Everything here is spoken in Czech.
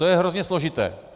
To je hrozně složité.